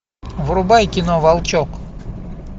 врубай кино волчек